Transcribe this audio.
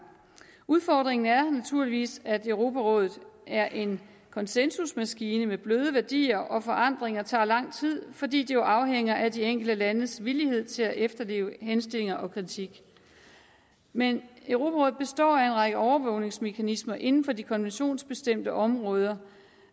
udfordringen er naturligvis at europarådet er en konsensusmaskine med bløde værdier og forandringer tager lang tid fordi de jo afhænger af de enkelte landes villighed til at efterleve henstillinger og kritik men europarådet består af en række overvågningsmekanismer inden for de konventionsbestemte områder